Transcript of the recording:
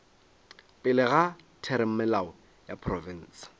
pele ga theramelao ya profense